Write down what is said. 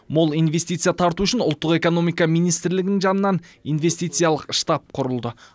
мол инвестиция тарту үшін ұлттық экономика министрлігінің жанынан инвестициялық штаб құрылды